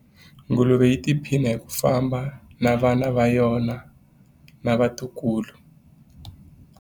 Nguluve yi tiphina hi ku famba na vana va yona na vatukulu.